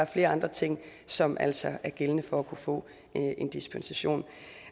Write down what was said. flere andre ting som altså er gældende for at kunne få en dispensation